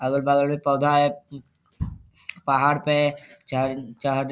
अगल-बगल मे पौधा है पहाड़ पे चहढ़ चहढ़ --